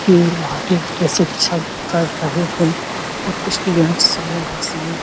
ये बहोत ही निरीक्षण कर रहे है और उसकी जाँच समूह व समूह--